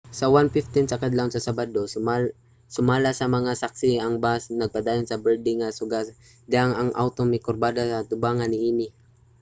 sa 1:15 sa kadlawon sa sabado sumala sa mga saksi ang bus nagpadayon sa berde nga suga sa dihang ang awto mikurbada sa atubangan niini